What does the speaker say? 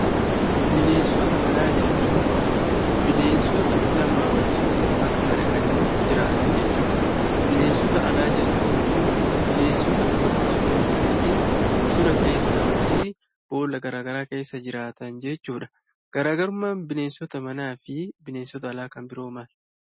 Bineensota manaa jechuun, bineensota namaa wajjiin namatti madaqanii jiraatan jechuudha. Bineensota alaa jechuun ammoo bineensota namatti osoo hin madaqin bosona keessaa fi boolla garaagaraa keessa jiraatan jechuudha. Garaagarummaan bineensota manaa fi bineensota alaa kan biroo maali?